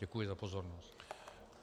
Děkuji za pozornost.